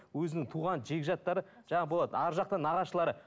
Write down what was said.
өзінің туған жекжаттары жаңағы болады арғы жақтан нағашылары